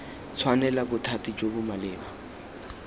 tshwanela bothati jo bo maleba